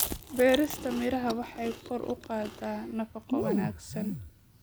Beerista miraha waxay kor u qaadaa nafaqo wanaagsan.